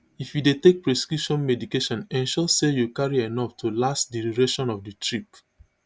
if you dey take prescription medication ensure say you carry enof to last di duration of di trip